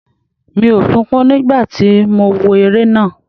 Mi ò sunkún nígbà tí mo wo eré náà.